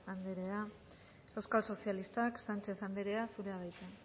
anderea euskal sozialistak sánchez anderea zurea da hitza